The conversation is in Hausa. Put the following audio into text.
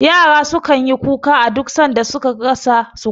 Yara su kan yi kuka a duk san da su ka rasa sukuni